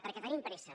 perquè tenim pressa